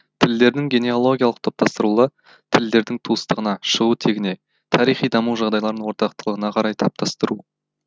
тілдердің генеалогиялық топтастырылуы тілдердің туыстығына шығу тегіне тарихи даму жағдайларының ортақтылығына қарай таптастыру